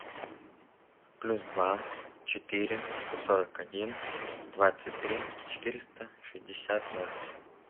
плюс два четыре сто сорок один двадцать три четыреста шестьдесят ноль